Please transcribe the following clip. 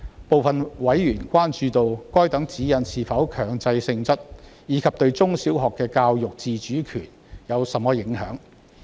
部分委員關注到，該等指示是否強制性質，以及該等指示對中小學的教學自主權有何影響。